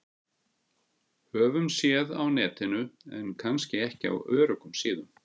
Höfum séð á Netinu- en kannski ekki á öruggum síðum.